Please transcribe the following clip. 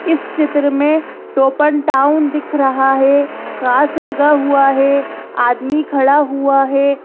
इस चित्र में टोपन एंड टाउन दिख रहा है कांच लगा हुआ है आदमी खड़ा हुआ है।